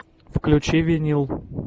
включи винил